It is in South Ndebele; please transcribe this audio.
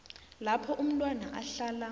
lapho umntwana ahlala